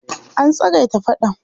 An tsagaita faɗan.